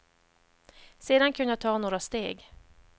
Sedan kunde jag ta några steg.